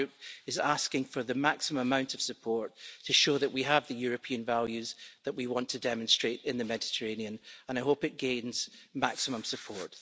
My Group is asking for the maximum amount of support to show that we have the European values that we want to demonstrate in the Mediterranean, and I hope it gains maximum support.